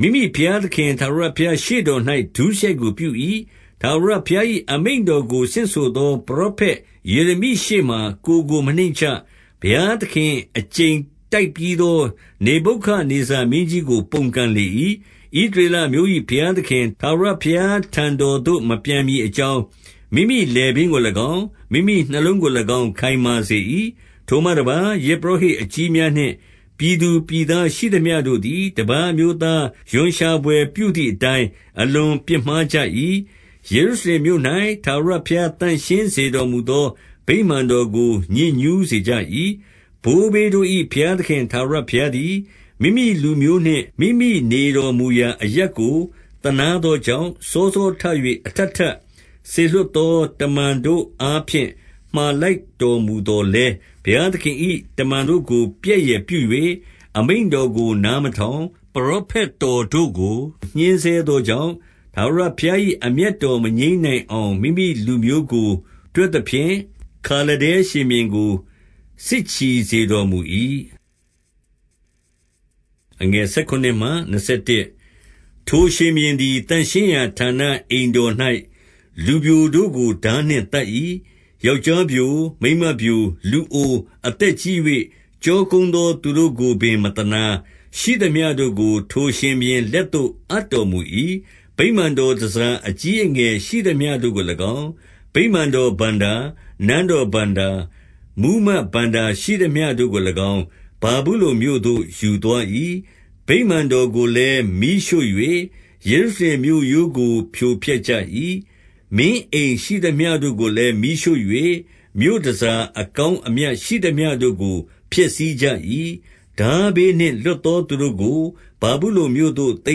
၊ မိမိဘုရားသခင် ထာဝရ ဘုရားရှေ့တော်၌ ဒုစရိုက်ပြု၏။ ထာဝရဘုရား၏ အမိန့် တော်ကို ဆင့်ဆိုသော ပရောဖက်ယေရမိရှေ့မှာ ကိုယ်ကို မနှိမ့်ချ။ 13 ဘုရားသခင် အကျိန်တိုက်ပြီးသော နေဗုခဒ် နေဇာမင်းကြီးကို ပုန်ကန်လေ၏။ ဣသရေလအမျိုး၏ ဘုရားသခင် ထာဝရဘုရားထံတော်သို့ မပြန်မည် အကြောင်း၊ မိမိလည်ပင်းကို၎င်း၊ မိမိနှလုံးကို၎င်း ခိုင်မာစေ၏။ 14 ထိုမှတပါး၊ ယဇ်ပုရောဟိတ်အကြီးများနှင့် ပြည်သူပြည်သား ရှိသမျှတို့သည်၊ တပါးအမျိုးသား ရွံရှာဘွယ်ပြုသည်အတိုင်း၊ အလွန်ပြစ်မှားကြ၏။ ယေရုရှလင်မြို့၌ ထာဝရဘုရား သန့်ရှင်းစေတော်မူသော ဗိမာန်တော်ကို ညစ်ညူးစေကြ၏။ 15 ဘိုးဘေးတို့၏ ဘုရားသခင် ထာဝရဘုရား သည်၊ မိမိလူမျိုးနှင့် မိမိနေတော်မူရာ အရပ်ကိုသနား သောကြောင့်၊ စောစောထ၍ အထပ်ထပ် စေလွှတ်သော တမန်တို့အားဖြင့် မှာလိုက်တော်မူသော်လည်း၊ 16 ဘုရားသခင်၏ တမန်တို့ကို ပြက်ယယ်ပြု၍ အမိန့်တော်ကို နားမထောင်၊ ပရောဖက်တို့ကို ညှဉ်းဆဲ သောကြောင့်၊ ထာဝရဘုရား၏အမျက်တော် မငြိမ်း နိုင်အောင်၊ မိမိလူမျိုးကို တွက်သဖြင့်၊ 17 ခါလဒဲရှင်ဘုရင်ကို စစ်ချီစေတော်မူ၏။ ထိုရှင်ဘုရင်သည် သန့်ရှင်းရာဌာန အိမ်တော်၌ လူပျိုတို့ ကို ထားနှင့်သတ်၏။ ယောက်ျားပျို၊ မိန်းမပျို၊ လူအို၊ အသက်ကြီး၍ ကျောကုန်းသော သူတို့ကိုပင် မသနား၊ ရှိသမျှတို့ကို ထိုရှင်ဘုရင် လက်သို့အပ်တော်မူ၏။ 18 ဗိမာန်တော်တန်ဆာ အကြီးအငယ်ရှိသမျှတို့ကို၎င်း၊ ဗိမာန်တော်ဘဏ္ဍာ၊ နန်းတော်ဘဏ္ဍာ၊ မှူးမတ် ဘဏ္ဍာရှိသမျှတို့ကို၎င်း၊ ဗာဗုလုန်မြို့သို့ ယူသွား၏။ 19 ဗိမာန်တော်ကိုလည်း မီးရှို့၍ ယေရုရှလင်မြို့ရိုး ကို ဖြိုဖျက်ကြ၏။ မင်းအိမ်ရှိသမျှတို့ကိုလည်း မီးရှို့၍ မြို့တန်ဆာအကောင်းအမြတ်ရှိသမျှတို့ကို ဖျက်ဆီးကြ၏။ 20 ထားဘေးနှင့် လွတ်သောသူတို့ကို၊ ဗာဗုလုန်မြို့ သို့ သိ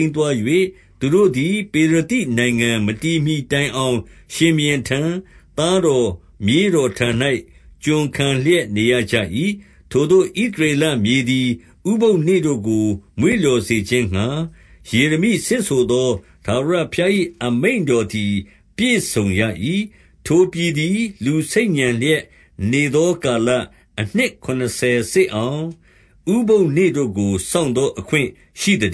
မ်းသွား၍၊ သူတို့သည် ပေရသိနိုင်ငံ မတည်မှီ တိုင်အောင် ရှင်ဘုရင်ထံ၊ သားတော် မြေးတော်ထံ၌ ကျွန်ခံလျက်နေရကြ၏။ 21 ထိုသို့ ဣသရေလမြေသည် ဥပုသ်နေ့တို့ကို မွေ့လျော်စေခြင်းငှါ၊ ယေရမိဆင့်ဆိုသော ထားဝရ ဘုရား၏ အမိန့်တော်သည် ပြည့်စုံရ၏။ ထိုပြည်သည် လူဆိတ်ညံလျက်နေသော ကာလ၊ အနှစ်ခုနစ်ဆယ် စေ့အောင် ဥပုသ်နေ့တို့ကို စောင့်သောအခွင့်ရှိသတ